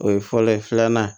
O ye fɔlɔ ye filanan